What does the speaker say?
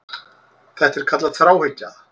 Þetta er kallað þráhyggja.